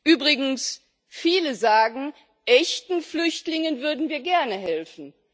Übrigens sagen viele Echten Flüchtlingen würden wir gerne helfen.